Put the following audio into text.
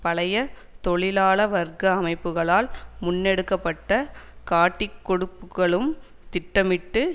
பழைய தொழிலாள வர்க்க அமைப்புக்களால் முன்னெடுக்க பட்ட காட்டிக்கொடுப்புகளும் திட்டமிட்டு